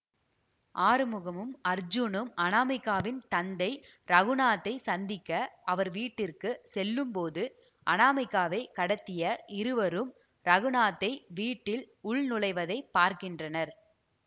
ஆறுமுகமும் அர்ஜுனும் அநாமிகாவின் தந்தை இரகுநாத்தை சந்திக்க அவர் வீட்டிற்க்கு செல்லும் போது அநாமிகாவைக் கடத்திய இருவரும் இரகுநாத்தை வீட்டில் உள்நுழைவதை பார்க்கின்றனர்